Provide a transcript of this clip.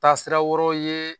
Taa sira wɛrɛw ye